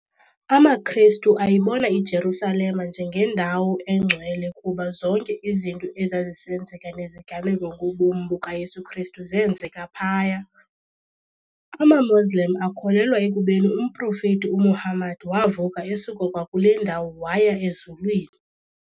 AmaKhrestu ayibona iJerusalem njengendawo eNgcwele kuba zonke izinto ezazisenzeka neziganeko ngobomi bukaYesu Khrestu zeenzeka phaya. amaMoslem akholelwa ekubeni umProfethi uMuhammad wavuka esuka kwakule ndawo waya ezulwini.